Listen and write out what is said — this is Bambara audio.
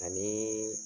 Ani